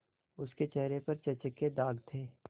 उसके चेहरे पर चेचक के दाग थे